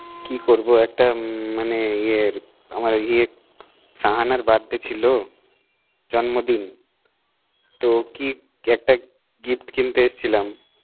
কি করব এখন মানে ইয়ে শাহানার birthday ছিল জন্মদিন তো একটা কিক, একটা gift কিনতে এসছিলাম